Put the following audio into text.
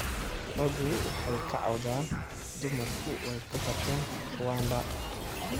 Raggu waxay ka cawdaan dumarku way ka bateen Rwanda